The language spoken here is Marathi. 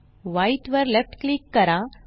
व्हाईट वर लेफ्ट क्लिक करा